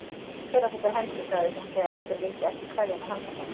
Hver á þessa hendi? sagði hún þegar einhver vildi ekki kveðja með handabandi.